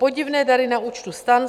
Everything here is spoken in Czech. Podivné dary na účtu STAN.